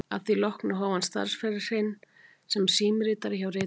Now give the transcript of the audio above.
Að því loknu hóf hann starfsferil sinn sem símritari hjá Ritsíma